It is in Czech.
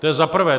To je za prvé.